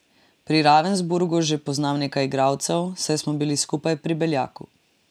Pri Ravensburgu že poznam nekaj igralcev, saj smo bili skupaj pri Beljaku.